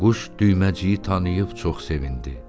Quş Düyməciyi tanıyıb çox sevindi.